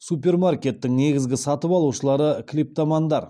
супермаркеттің негізгі сатып алушылары клиптомандар